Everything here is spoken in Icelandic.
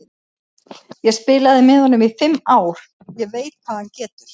Ég spilaði með honum í fimm ár, ég veit hvað hann getur.